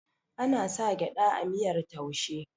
ana sa gyada a miyar taushe